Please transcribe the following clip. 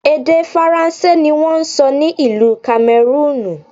Èdè Faransé ni wón ń sọ ní ìlú Kamẹrúùnù.